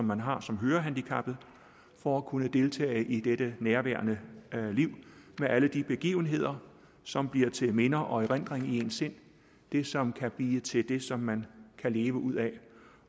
man har som hørehandicappet for at kunne deltage i dette nærværende liv med alle de begivenheder som bliver til minder og erindring i ens sind det som kan blive til det som man kan leve ud af